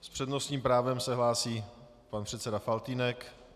S přednostním právem se hlásí pan předseda Faltýnek.